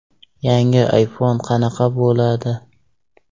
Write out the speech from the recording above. Yangi iPhone qanaqa bo‘ladi?